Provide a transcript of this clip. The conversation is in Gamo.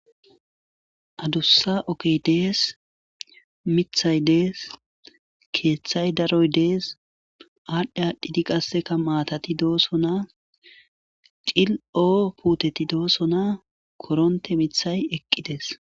Adussa okey dees mithay dees keeththay daroy dees aadhdhe aadhdhidi qasseka maatati dooso naa cil'oo puteti doosona koronte mithay eqqides.